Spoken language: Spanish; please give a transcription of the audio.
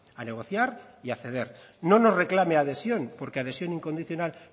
a negociar y a acceder no nos reclame adhesión porque adhesión incondicional